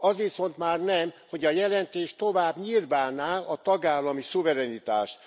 Az viszont már nem, hogy a jelentés tovább nyirbálná a tagállami szuverenitást.